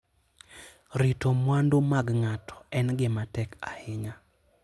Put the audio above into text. Rito mwandu mag ng'ato en gima tek ahinya.